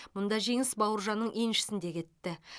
мұнда жеңіс бауыржанның еншісінде кетті